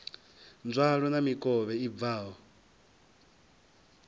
nzwalo na mikovhe i bvaho